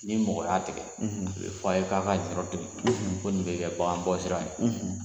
Ni mɔgɔ y'a tigɛ, , a bɛ fɔ a ye k'a ka nin yɔrɔ to yen. . Ko nin bɛ kɛ bagan bɔ sira ye.